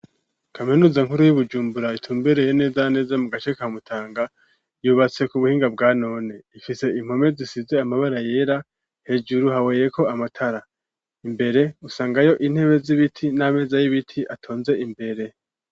Kaminuza nkuru y'i Bujumbura itumbereye neza neza mu gace ka Mutanga yubatse ku buhinga bwa none. Ifise impome zisize amabara yera hejuru haboheyeko amatara. Imbere usangayo intebe z'ibiti n'ameza y'ibiti atonze imbere.